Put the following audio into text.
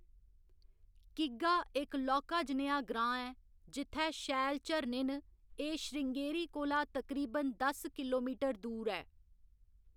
किग्गा इक लौह्‌‌‌का जनेहा ग्रांऽ ऐ, जित्थै शैल झरने न, एह्‌‌ श्रृँगेरी कोला तकरीबन दस किलोमीटर दूर ऐ।